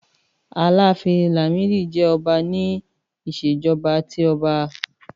Àlàáfín Làmídì jẹ́ ọba ní Ìṣèjọ́ba tí ọba.